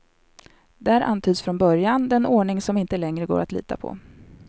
Där antyds från början den ordning som inte längre går att lita på.